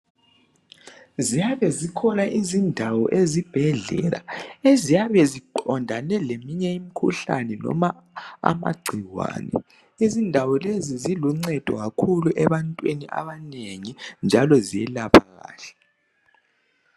Ziyabe zikhona izindawo ezibhedlela eziyabe ziqondane leminye imikhuhlane noma amagcikwane izindawo lezi ziluncedo kakhulu ebantwini abanengi njalo ziyelapha kahle.